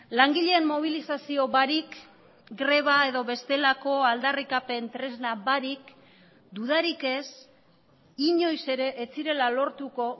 langileen mobilizazio barik greba edo bestelako aldarrikapen tresna barik dudarik ez inoiz ere ez zirela lortuko